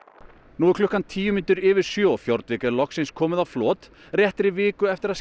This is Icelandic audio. nú er klukkan tíu mínútur yfir sjö og Fjordvik er loksins komið á flot réttri viku eftir að